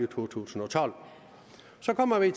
to tusind og tolv så kommer vi